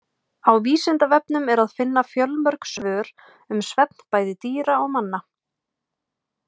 Á Vísindavefnum er að finna fjölmörg svör um svefn bæði dýra og manna.